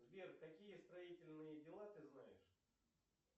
сбер какие строительные дела ты знаешь